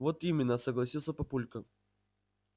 вот именно согласился папулька